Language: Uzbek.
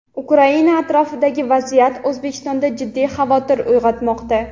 Ukraina atrofidagi vaziyat Oʼzbekistonda jiddiy xavotir uygʼotmoqda.